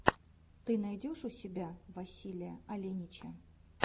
ты найдешь у себя василия оленича